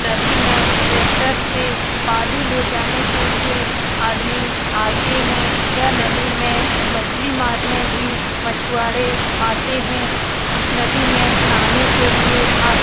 नदी मे ट्रैक्टर से बालू ले जाने के लिए आदमी आते है यह नदी मे मछली मारने भी मछवाड़े आते है नदी मे नहाने के लिए आ --